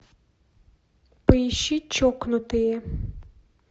поищи чокнутые